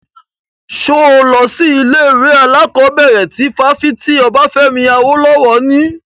Ṣo lọ sí ilé ìwé alákọ̀bẹ̀rẹ̀ ti fáfitì Obafemi Awolowo ni?